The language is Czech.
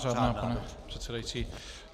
Řádná, pane předsedající.